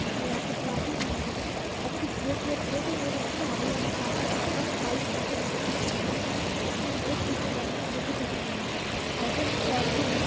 और यहाँ पे पराथे मिलते है आलू पराथे नजर आ रहे है पर इसमें एक चीज की कमी है दोती चटनी है और तो न सॉस भी नहीं है।